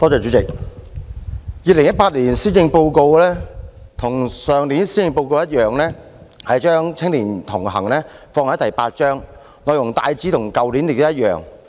主席，與去年的施政報告一樣 ，2018 年的施政報告將"與青年同行"放在第八項，內容亦大致與去年一樣。